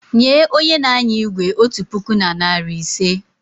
Nye onye n'anya igwe otu puku na narị ise!